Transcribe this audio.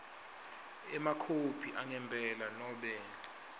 emakhophi angempela nobe